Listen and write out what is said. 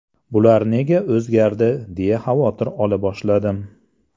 Bular nega o‘zgardi deya xavotir ola boshladim.